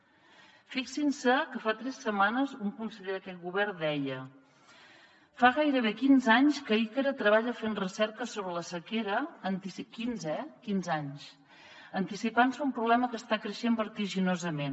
fixin se que fa tres setmanes un conseller d’aquest govern deia fa gairebé quinze anys que icra treballa fent recerca sobre la sequera quinze eh quinze anys anticipant se a un problema que està creixent vertiginosament